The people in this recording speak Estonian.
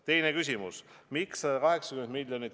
Teine küsimus: "Miks 180 milj.